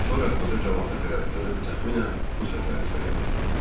Sonra qoca camaata tərəf dönüb təqribən bu sözləri söylədi.